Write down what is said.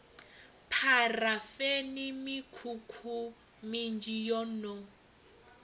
pharafeni mikhukhu minzhi yo no